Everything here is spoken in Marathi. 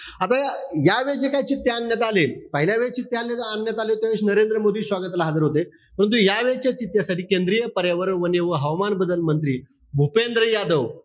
आता या यावेळेस जे काही चित्ते आणण्यात आले. पहिल्यावेळी चित्ते आणण्यात आले त्यावेळेस नरेंद्र मोदी स्वागताला हजर होते. परंतु यावेळेसच्या चित्त्यासाठी केंद्रीय पर्यावरण वने व हवामान बदल मंत्री भूपेंद्र यादव,